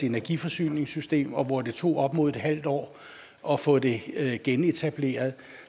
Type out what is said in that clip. energiforsyningssystem og hvor det tog op imod et halvt år at få det genetableret